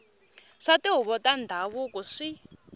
swa tihuvo ta ndhavuko swi